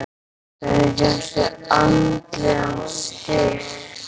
Hvernig fékkstu andlegan styrk?